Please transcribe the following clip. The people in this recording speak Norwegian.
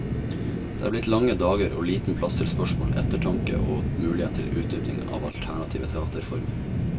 Det er blitt lange dager og liten plass til spørsmål, ettertanke og mulighet til utdypning av alternative teaterformer.